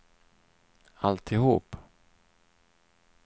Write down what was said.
alltihop